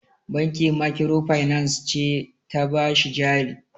Banki makirofainans ce ta ba shi jari.